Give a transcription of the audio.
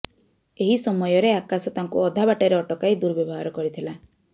ଏହି ସମୟରେ ଆକାଶ ତାଙ୍କୁ ଅଧା ବାଟରେ ଅଟକାଇ ଦୁର୍ବ୍ୟବହାର କରିଥିଲା